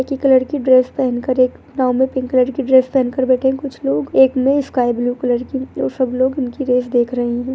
एक ही कलर की ड्रेस पहन कर एक नाव में पिंक कलर की ड्रेस पहनकर बैठे हैं कुछ लोग एक ने स्काई ब्लू कलर की और सब लोग उनकी रेस देख रहें हैं।